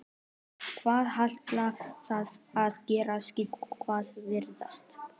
En hvað ætla þeir að gera, sækja eða verjast?